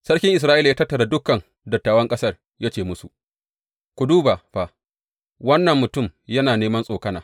Sarkin Isra’ila ya tattara dukan dattawan ƙasar, ya ce musu, Ku duba fa, wannan mutum yana neman tsokana!